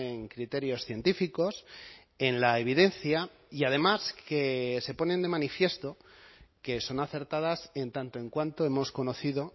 en criterios científicos en la evidencia y además que se ponen de manifiesto que son acertadas en tanto en cuanto hemos conocido